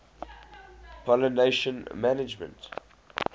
pollination management